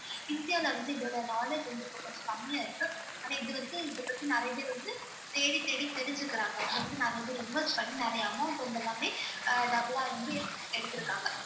இந்தியால வந்து இதோட knowledge வந்து இப்ப கொஞ்சம் கம்மியா இருக்கு ஆனா இது வந்து இதைப்பத்தி நிறைய பேர் வந்து தேடி தேடி தெரிஞ்சிக்கிறாங்க வந்து நிறைய பேர் invest பண்ணி நிறைய amount வந்த மாதிரி அஹ் double ஆ வந்து எடுத்திருக்காங்க.